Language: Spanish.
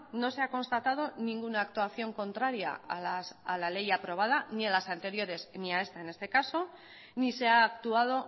no se ha constatado ninguna actuación contraria a la ley aprobada ni a las anteriores ni a esta en este caso ni se ha actuado